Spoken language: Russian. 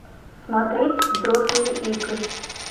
смотреть взрослые игры